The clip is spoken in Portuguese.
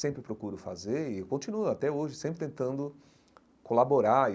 Sempre procuro fazer e continuo até hoje sempre tentando colaborar.